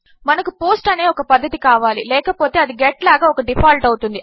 మనకు పోస్ట్ అనేఒకపద్ధతికావాలిలేకపోతే అది గెట్ లాగాఒకడీఫాల్ట్అవుతుంది